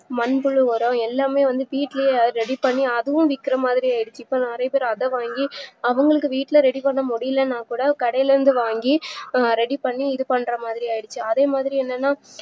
மண்புழு உரம் எல்லாமே வந்து வீட்லயே ready பண்ணி அதுவும் விக்குறமாதிரி ஆய்டுச்சு இப்போ நறைய பேர் அதவாங்கி அவங்களுக்கு வீட்ல ready பண்ண முடிலனாக்கூட கடைலந்து வாங்கி ready பண்ணி இதுபண்றமாறிஆய்டுச்சு அதேமாறி என்னன்னா